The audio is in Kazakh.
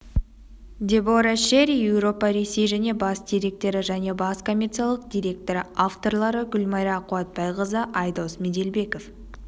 дебора шерри еуропа ресей және бас директоры және бас коммерциялық директоры авторлары гүлмайра қуатбайқызы айдос меделбеков